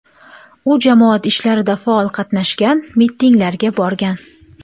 U jamoat ishlarida faol qatnashgan, mitinglarga borgan.